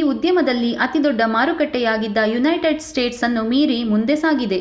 ಈ ಉದ್ಯಮಲ್ಲಿ ಅತಿದೊಡ್ಡ ಮಾರುಕಟ್ಟೆಯಾಗಿದ್ದ ಯುನೈಟೆಡ್ ಸ್ಟೇಟ್ಸ್ ಅನ್ನು ಮೀರಿ ಮುಂದೆ ಸಾಗಿದೆ